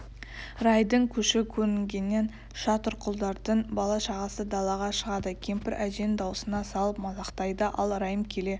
райдың көші көрінгеннен шатырқұлдардың бала-шағасы далаға шығады кемпір әженің даусына салып мазақтайды ал райым келе